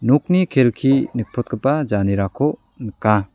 nokni kelki nikprotgipa janerako nika.